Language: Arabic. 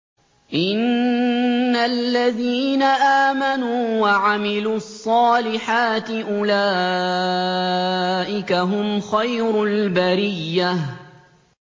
إِنَّ الَّذِينَ آمَنُوا وَعَمِلُوا الصَّالِحَاتِ أُولَٰئِكَ هُمْ خَيْرُ الْبَرِيَّةِ